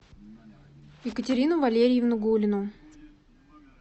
екатерину валерьевну гулину